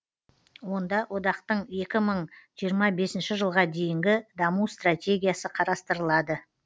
онда одақтың екі мың жиырма бесінші жылға дейінгі даму стратегиясы қарастырылады